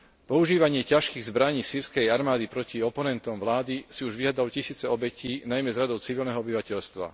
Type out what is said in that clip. Používanie ťažkých zbraní sýrskej armády proti oponentom vlády si už vyžiadalo tisíce obetí, najmä z radov civilného obyvateľstva.